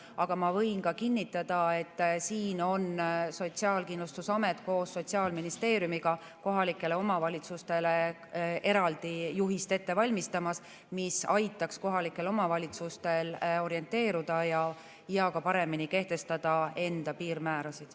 Aga ma võin kinnitada, et Sotsiaalkindlustusamet koos Sotsiaalministeeriumiga valmistab ette kohalikele omavalitsustele eraldi juhist, mis aitaks kohalikel omavalitsustel orienteeruda ja ka paremini kehtestada enda piirmäärasid.